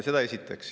Seda esiteks.